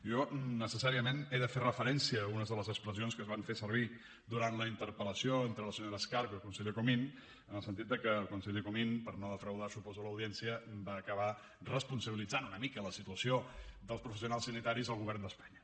jo necessàriament he de fer referència a algunes de les expressions que es van fer servir durant la interpel·lació entre la senyora escarp i el conseller comín en el sentit de que el conseller comín per no defraudar suposo l’audiència va acabar responsabilitzant una mica de la situació dels professionals sanitaris el govern d’espanya